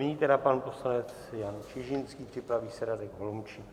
Nyní tedy pan poslanec Jan Čižinský, připraví se Radek Holomčík.